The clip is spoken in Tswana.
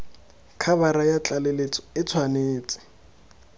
khabara ya tlaleletso e tshwanetse